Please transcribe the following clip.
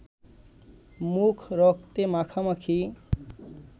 মুখ রক্তে মাখামাখি